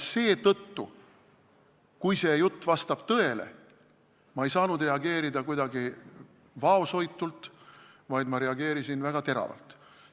Seetõttu ei saanud ma reageerida kuidagi vaoshoitult, ma reageerisin väga teravalt.